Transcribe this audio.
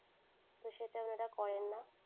তো সেটা ওনারা করেন না।